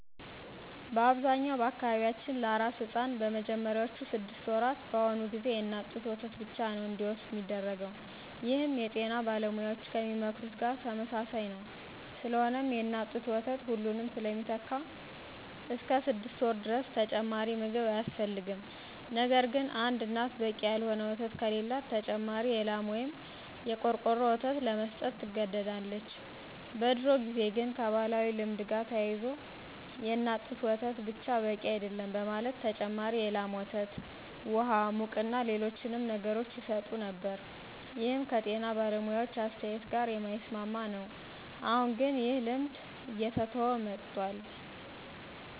በአብዛኛው በአካባቢያችን ለአራስ ሕፃን በመጀመሪያዎቹ ስድስት ወራት በአሁኑ ጊዜ የእናት ጡት ወተት ብቻ ነዉ እንዲወስድ ሚደረገው ይህም የጤና ባለሙያዎች ከሚመክሩት ጋር ተመሳሳይ ነዉ። ስለሆነም የእናት ጡት ወተት ሁሉንም ስለሚተካ እስከ ስድስት ወር ድረስ ተጨማሪ ምግብ አያስፈልግም። ነገርግን አንድ እናት በቂ ያልሆነ ወተት ከሌላት ተጨማሪ የላም ወይም የቆርቆሮ ወተት ለመስጠት ትገደዳለች። በድሮ ጊዜ ግን ከባህላዊ ልማድ ጋር ተያይዞ የእናት ጡት ወተት ብቻ በቂ አይደለም በማለት ተጨማሪ የላም ወተት፣ ውሃ፣ ሙቅና ሌሎችንም ነገሮች ይሰጡ ነበር ይህም ከጤና ባለሙያዎች አስተያየት ጋር የማይስማማ ነው። አሁን ግን ይህ ልማድ እየተተወ መጥቷል።